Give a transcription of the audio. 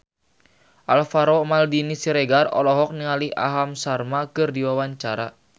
Alvaro Maldini Siregar olohok ningali Aham Sharma keur diwawancara